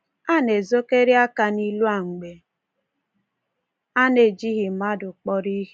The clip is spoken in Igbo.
A na-ezokarị aka n’ilu a mgbe a na-ejighị mmadụ kpọrọ ihe.